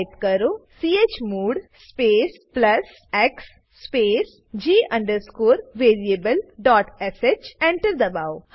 type કરો chmod space plus x space g variablesh enter દબાઓ